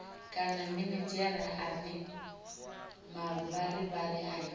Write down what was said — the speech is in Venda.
kana minidzhere ane mavharivhari ayo